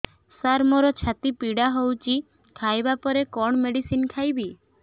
ସାର ମୋର ଛାତି ପୀଡା ହଉଚି ଖାଇବା ପରେ କଣ ମେଡିସିନ ଖାଇବି